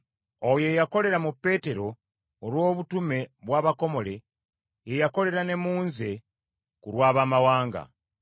oyo eyakolera mu Peetero olw’obutume bw’abakomole, ye yakolera ne mu nze ku lw’Abaamawanga.